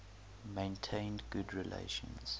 maintained good relations